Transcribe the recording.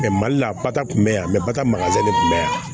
mali la bata kun bɛ yan mɛ bata maka de kun bɛ yan